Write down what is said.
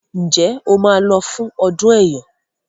Njé o má ló fún ọdún eyọ?